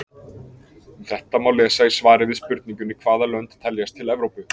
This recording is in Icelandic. Um þetta má lesa í svari við spurningunni Hvaða lönd teljast til Evrópu?